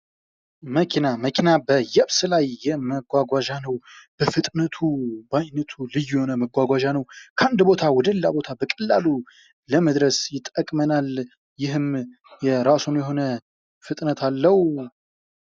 መኪና። መኪና በየብስ ላይ መጓጓዣ ነው ።በፍጥነቱ ባይነቱ ልዩ የሆነ መጓጓዣ ነው ።ከአንድ ቦታ ወደሌላ ቦታ በቀላሉ ለመድረስ ይጠቅመናል። ይህም የራሱ የሆነ ፍጥነት አለው።